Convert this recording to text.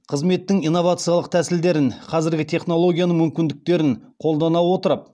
қызметтің инновациялық тәсілдерін қазіргі технологияның мүмкіндіктерін қолдана отырып